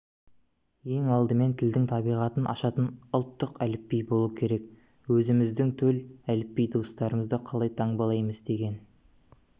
ең алдымен тілдің табиғатын ашатын ұлттық әліпби болуы керек өзіміздің төл әліпби дыбыстарымызды қалай таңбалаймыз деген